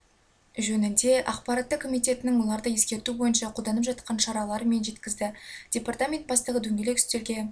жөнінде ақпаратты комитетінің оларды ескерту бойынша қолданып жатқан шаралары мен жеткізді департамент бастығы дөңгелек үстелге